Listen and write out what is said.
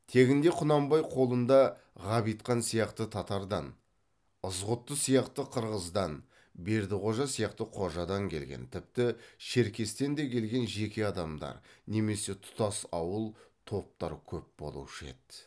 тегінде құнанбай қолында ғабитхан сияқты татардан ызғұтты сияқты қырғыздан бердіқожа сияқты қожадан келген тіпті шеркестен де келген жеке адамдар немесе тұтас ауыл топтар көп болушы еді